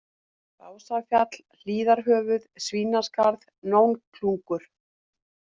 Básafjall, Hlíðarhöfuð, Svínaskarð, Nónklungur